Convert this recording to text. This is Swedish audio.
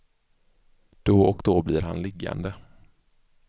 Då och då blir han liggande.